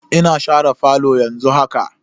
Ina share falo yanzu haka.